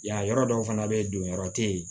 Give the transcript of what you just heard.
Yan yɔrɔ dɔw fana bɛ yen don yɔrɔ tɛ yen